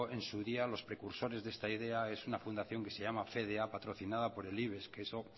en su día los precursores de esta idea es una fundación que se llama fedea patrocinada por el ibex que eso